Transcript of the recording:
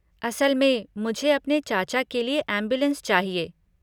असल में, मुझे अपने चाचा के लिए एम्बुलेंस चाहिए।